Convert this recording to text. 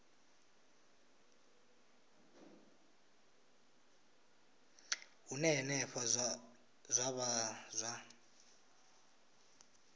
hune henefho zwa vha zwa